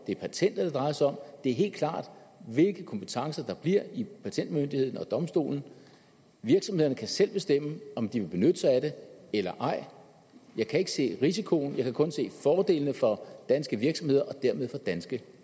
det er patentet det drejer sig om og det er helt klart hvilke kompetencer der bliver i patentmyndigheden og domstolen og virksomhederne kan selv bestemme om de vil benytte sig af det eller ej jeg kan ikke se risikoen jeg kan kun se fordelene for danske virksomheder og dermed for danske